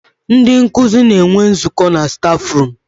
Ndị nkuzi na-enwe nzụkọ na stafrum.